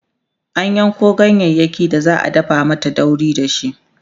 an Yanko ganyayaki da za'a dafa mata dauri dashi